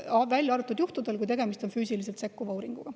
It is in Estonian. Välja on arvatud juhud, kus tegemist on füüsiliselt sekkuva uuringuga.